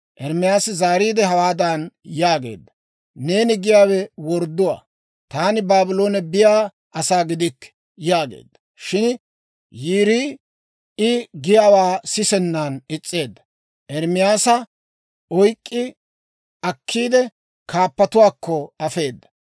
Ermaasi zaariide, hawaadan yaageedda; «Neeni giyaawe wordduwaa; taani Baabloone biyaa asaa gidikke» yaageedda. Shin Yiirii I giyaawaa sisennan is's'eedda; Ermaasa oyk'k'i akkiide, kaappatuwaakko afeeda.